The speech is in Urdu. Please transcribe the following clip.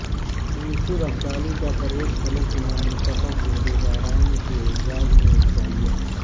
انصر ابدالی کا پریس کلب کے نومنتخب عہدیداران کے اعزاز میں عشائیہ